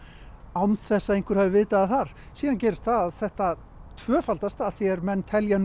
án þess að einhver hafi vitað af þar síðan gerist það að þetta tvöfaldast að því er menn telja